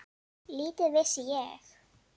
Lítið vissi ég.